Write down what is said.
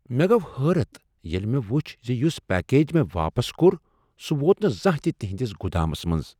مےٚ گوٚو حٲرتھ ییٚلہ مےٚ وٗچھ ز یٗس پیکج مےٚ واپس کوٚر سٗہ ووت نہٕ زانٛہہ تہ تہنٛدس گٗدامس منٛز!